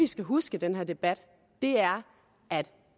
skal huske i den her debat er at